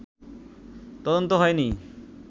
তদন্ত হয়নি